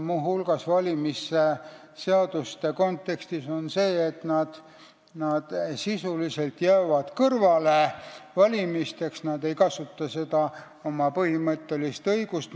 Muu hulgas, valimisseaduste kontekstis, on asi selles, et nad jäävad sisuliselt valimistest kõrvale, nad ei kasuta seda oma põhimõttelist õigust.